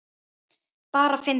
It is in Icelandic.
Bara fyndið.